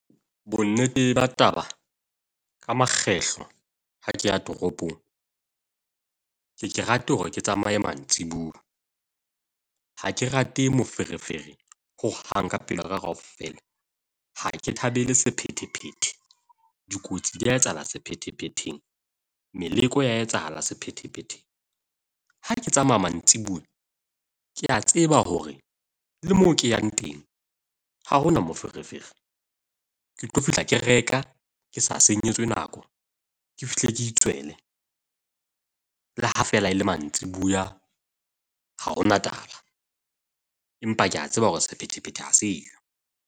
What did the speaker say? Bonnete ba taba, ka makgetlo ha ke a tropong, ke ye ke rate hore ke tsamaye mantsiboya. Ha ke rate moferefere ho hang ka pelo ya ka kaofela, Ha ke thabele sephethephethe. Dikotsi di a etsahala sephethephetheng. Meleko e a etsahala sephethephetheng. Ha ke tsamaya mantsiboya, ke a tseba hore le moo ke yang teng ha hona moferefere. Ke tlo fihla, ke reka ke sa senyetse nako. Ke fihle ke itswele, le ha fela e le mantsiboya ha hona taba empa ke a tseba hore sephethephethe ha se yo.